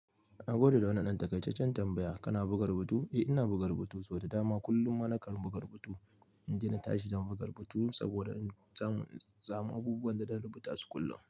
Na gode da wannan ɗan taƙaitaccen tambaya kana buga rubutu? Eh ina buga rubutu sau da dama, kullum ma na kan buga rubutu. In dai na tashi zan buga rubutu saboda in samu in samu abubuwan da zan rubuta su kullum.